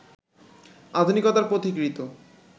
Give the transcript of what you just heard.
আধুনিকতার পথিকৃত